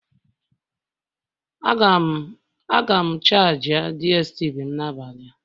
Aga m charji DSTV m n'abalị a